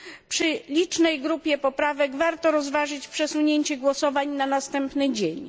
Przy licznej grupie poprawek warto rozważyć przesunięcie głosowań na następny dzień.